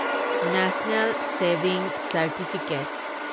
national saving certificate